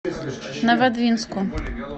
новодвинску